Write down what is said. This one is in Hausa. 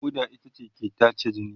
ƙoda ita ke tace jini.